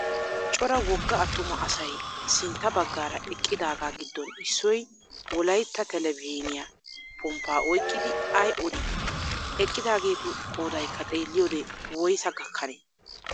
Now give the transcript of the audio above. Cora wogga attuma asay sintta baggara eqqidaaga giddon issoy wolayitta telbejjiiniya pomppa oyikkidi ayi odii? Eqqidaageetu qoodayikka xeelliyoode woyisaa gakkane?